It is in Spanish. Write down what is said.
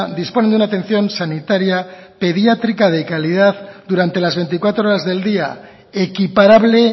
disponen de una atención sanitaria pediátrica de calidad durante las veinticuatro horas del día equiparable